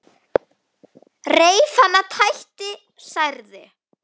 Reif hana, tætti, særði.